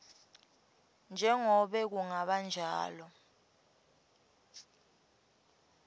njengobe kungaba njalo